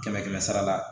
Kɛmɛ kɛmɛ sara la